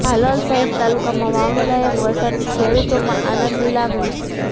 હાલોલ સહિત તાલુકામાં વાવણી લાયક વરસાદથી ખેડૂતોમાં આનંદની લાગણી